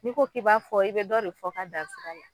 N'i ko k'i b'a fɔ i be dɔ de fɔ ka dan sira la